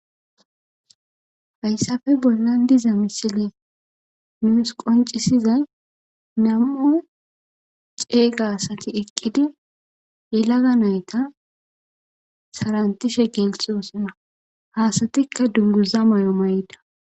Fayssafe bollan diza misile nuus qoncisiza namu'u ceeyga asati eqqidi yelaga nayta sarantishe geeltoosina haasatikka dunguza may'amayda.